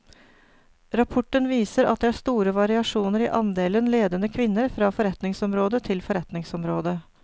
Rapporten viser at det er store variasjoner i andelen ledende kvinner fra forretningsområde til forretningsområde.